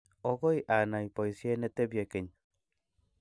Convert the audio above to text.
okoi anai boisie ne tebie geny.